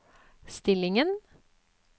stillingen